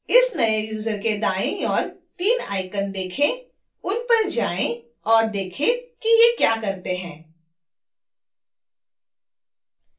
इस नए यूजर के दाईं ओर 3 icons देखें उन पर जाएँ और देखें कि ये क्या करते हैं